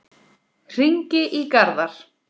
Hringi í Garðar.